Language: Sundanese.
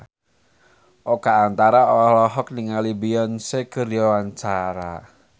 Oka Antara olohok ningali Beyonce keur diwawancara